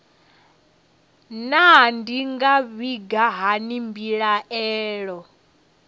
naa ndi nga vhiga hani mbilaelo